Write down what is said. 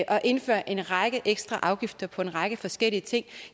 og indfører en række ekstra afgifter på en række forskellige ting